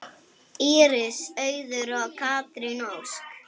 Íris Auður og Katrín Ósk.